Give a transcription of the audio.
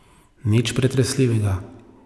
Nič pretresljivega.